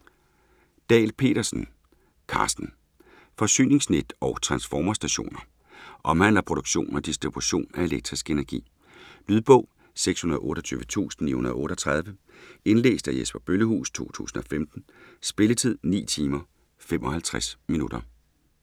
Dahl Petersen, Carsten: Forsyningsnet og transformerstationer Omhandler produktion og distribution af elektrisk energi. Lydbog 628938 Indlæst af Jesper Bøllehuus, 2015. Spilletid: 9 timer, 55 minutter.